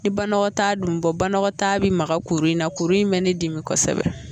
Ni banagɔtaa dun bi bɔ banɔgɔtaa bi maga kuru in na kurun in me ne dimi kosɛbɛ